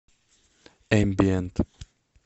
эмбиент